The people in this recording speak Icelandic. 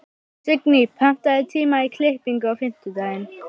Signý, pantaðu tíma í klippingu á fimmtudaginn.